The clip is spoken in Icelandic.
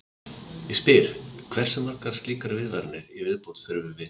En ég spyr: Hversu margar slíkar viðvaranir í viðbót þurfum við?